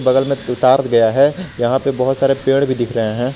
बगल में दो तार गया है यहां पे बहुत सारे पेड़ भी दिख रहे हैं।